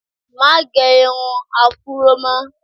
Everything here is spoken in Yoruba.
Má gẹ irun afúró mọ́!